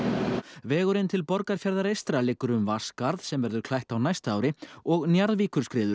vegurinn til Borgarfjarðar eystra liggur um Vatnsskarð sem verður klætt á næsta og